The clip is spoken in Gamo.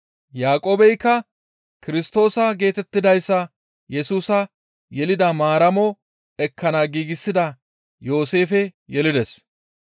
Yaaqoobeykka Kirstoosa geetettidayssa Yesusa yelida Maaramo ekkana giigsida Yooseefe yelides.